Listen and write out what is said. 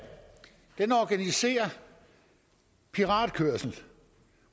den organiserer piratkørsel